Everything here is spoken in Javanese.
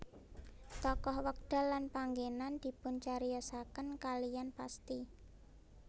Tokoh wekdal lan panggenan dipuncariyosaken kaliyan pasti